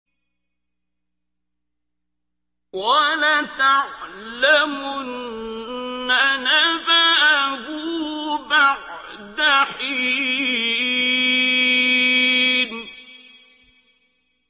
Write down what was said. وَلَتَعْلَمُنَّ نَبَأَهُ بَعْدَ حِينٍ